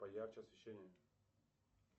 поярче освещение